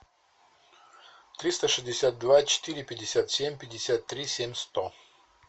триста шестьдесят два четыре пятьдесят семь пятьдесят три семь сто